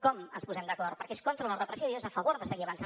com ens posem d’acord perquè és contra la repressió i és a favor de seguir avançant